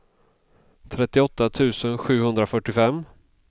trettioåtta tusen sjuhundrafyrtiofem